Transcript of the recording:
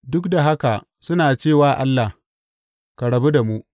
Duk da haka suna ce wa Allah, Ka rabu da mu.’